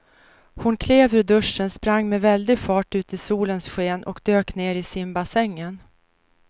Hon klev ur duschen, sprang med väldig fart ut i solens sken och dök ner i simbassängen.